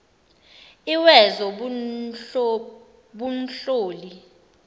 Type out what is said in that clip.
lwezobunhloli